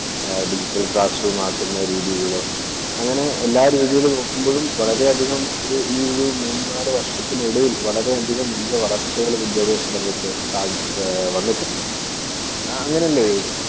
Digital‍ classroom ആക്കുന്ന രീതികൾ, അങ്ങനെ എല്ലാ രീതിയില്‍ നോക്കുമ്പോഴും വളരെയധികം ഈ ഒരു മൂന്നാല് വർഷത്തിനിടയിൽ വളരെയധികം മുന്തിയ വളർച്ചകൾ വിദ്യാഭ്യാസ രംഗത്ത് വന്നിട്ടുണ്ട്. ആഹ് അങ്ങനല്ലേ.